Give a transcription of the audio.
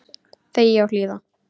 Þegja og hlýða.